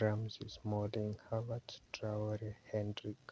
Ramsey, Smalling, Havertz, Traore, Hendrick